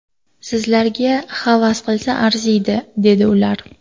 Sizlarga havas qilsa arziydi’, dedi ular.